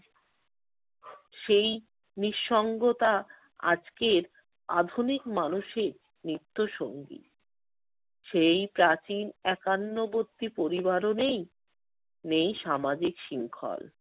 সেই নিঃসঙ্গতা আজকের আধুনিক মানুষের মৃত্যুর সঙ্গী । সেই প্রাচীন একান্নবর্তী পরিবারও নেই, নেই সামাজিক শৃঙ্খল।